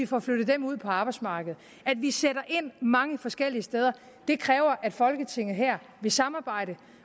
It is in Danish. får flyttet dem ud på arbejdsmarkedet at vi sætter ind mange forskellige steder kræver at folketinget her vil samarbejde